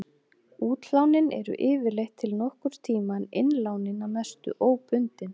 Útlánin eru yfirleitt til nokkurs tíma en innlánin að mestu óbundin.